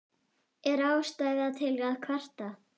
Er ástæða til að kvarta?